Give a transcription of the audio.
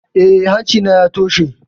Eh, hanci na ya toshe